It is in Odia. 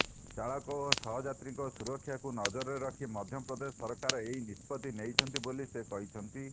ଚାଳକ ଓ ସହଯାତ୍ରୀଙ୍କ ସୁରକ୍ଷାକୁ ନଜରରେ ରଖି ମଧ୍ୟପ୍ରଦେଶ ସରକାର ଏହି ନିଷ୍ପତ୍ତି ନେଇଛନ୍ତି ବୋଲି ସେ କହିଛନ୍ତି